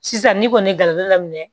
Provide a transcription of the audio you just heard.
Sisan ni kɔni ye garibu daminɛ